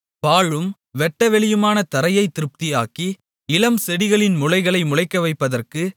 பாழும் வெட்டவெளியுமான தரையைத் திருப்தியாக்கி இளம்செடிகளின் முளைகளை முளைக்கவைப்பதற்கு